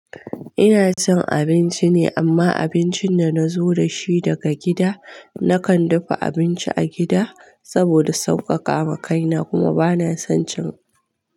Ina cin abinci ne amma abincin da nazo da shi daga gida. Nakan dafa abinci a gida saboda sauƙaƙa ma kaina kuma bana son cin.